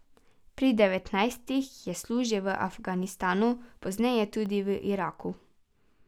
Pri devetnajstih je služil v Afganistanu, pozneje tudi v Iraku.